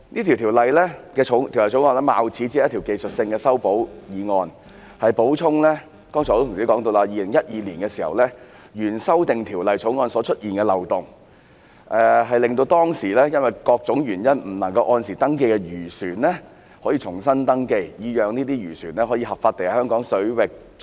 《條例草案》貌似一項技術性的修訂議案——就如很多同事剛才也提到——旨在填補2012年通過的原修訂條例草案的漏洞，令到當時因為各種原因不能按時登記的漁船可以重新登記，讓漁船可以合法地在香港水域作業。